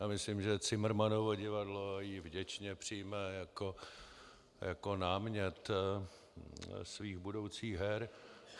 Já myslím, že Cimrmanovo divadlo ji vděčně přijme jako námět svých budoucích her.